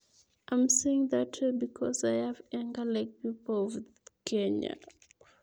awae kuchutok atinye neregek kou chitoab emet ab kenya